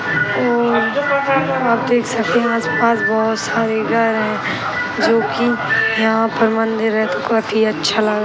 और आप देख सकते हैं आस-पास बहुत सारे घर है जो कि यहाँ पर मंदिर है तो काफी अच्छा लग --